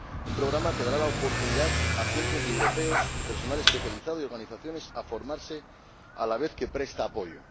Un programa que dará la oportunidad a cientos de europeos —personal especializado y organizaciones— de formarse a la vez que les presta apoyo.